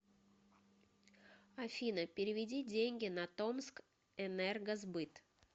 афина переведи деньги на томск энергосбыт